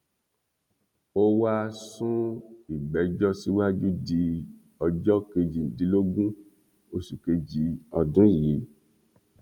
ó wáá sún ìgbẹjọ síwájú di ọjọ kejìdínlógún oṣù kejì ọdún yìí